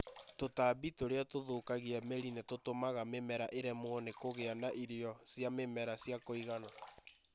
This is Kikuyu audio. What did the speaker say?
Tũtambi tũrĩa tũthũkagia mĩri nĩ tũtũmaga mĩmera ĩremwo nĩ kũgĩa na irio cia mĩmera cia kũigana.